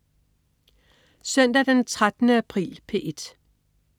Søndag den 13. april - P1: